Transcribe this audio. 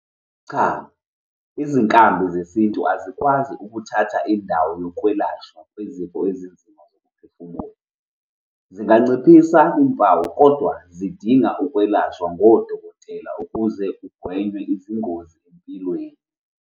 Cha, izinkambi zesintu azikwazi ukuthatha indawo yokwelashwa kwezifo ezinzima zokuphefumula. Zinganciphisa iy'mpawu, kodwa zidinga ukwelashwa ngodokotela ukuze kugwenywe izingozi empilweni.